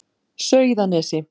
Sauðanesi